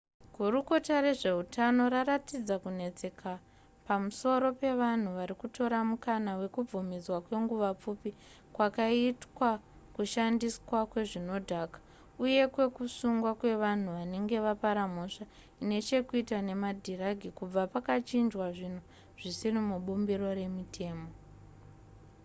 gurukota rezveutano raratidza kunetseka pamusoro pevanhu vari kutora mukana wekubvumidzwa kwenguva pfupi kwakaitwa kushandiswa kwezvinodhaka uye kwekusungwa kwevanhu vanenge vapara mhosva ine chekuita nemadhiragi kubva pakachinjwa zvinhu zvisiri mubumbiro remutemo